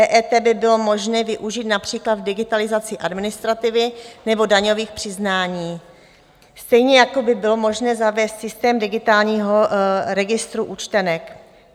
EET by bylo možné využít například v digitalizaci administrativy nebo daňových přiznání, stejně jako by bylo možné zavést systém digitálního registru účtenek.